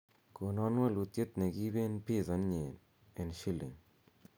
konon wolutiet negiiben pizza ny'eny en shilling